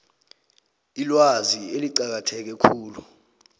ilwazi eliqakatheke khulu